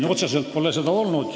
Meil pole seda otseselt teemaks olnud.